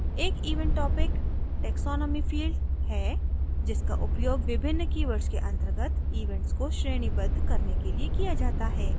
एक event topic taxonomy field है जिसका उपयोग विभिन्न keywords के अंतर्गत event को श्रेणीबद्ध करने के लिए किया जाता है